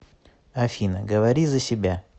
афина говори за себя